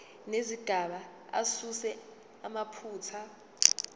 nezigaba asuse amaphutha